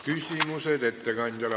Küsimused ettekandjale.